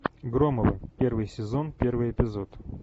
громовы первый сезон первый эпизод